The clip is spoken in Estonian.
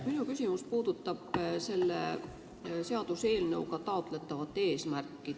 Minu küsimus puudutab selle seaduseelnõu eesmärki.